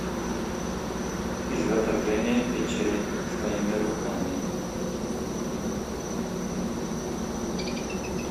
изготовление печей своими руками